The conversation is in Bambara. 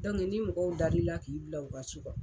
Dɔnku ni mɔgɔw dali la k'i bila u ka ci la.